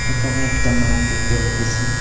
এখানে একটা মাঠ দেখতে পারতেসি।